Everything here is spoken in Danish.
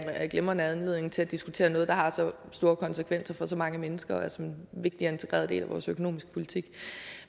glimrende anledning til at diskutere noget der har så store konsekvenser for så mange mennesker og som er en vigtig og integreret del af vores økonomiske politik